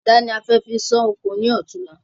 Adà ni a fẹ́ fi san ọkọ ní ọ̀tunla